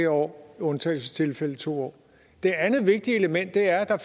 år i undtagelsestilfælde to år det andet vigtige element er at der